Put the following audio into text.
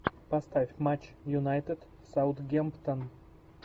поставь матч юнайтед саутгемптон